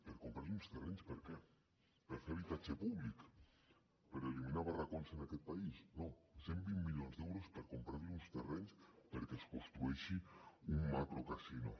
per comprar li uns terrenys per a què per fer habitatge públic per eliminar barracons en aquest país no cent i vint milions d’euros per comprar li uns terrenys perquè es construeixi un macrocasino